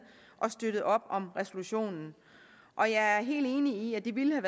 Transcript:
og har støttet op om resolutionen og jeg er helt enig i at det ville